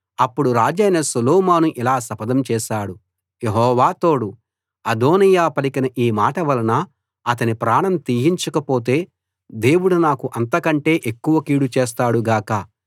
అప్పుడు రాజైన సొలొమోను ఇలా శపథం చేశాడు యెహోవా తోడు అదోనీయా పలికిన ఈ మాట వలన అతని ప్రాణం తీయించకపోతే దేవుడు నాకు అంతకంటే ఎక్కువ కీడు చేస్తాడు గాక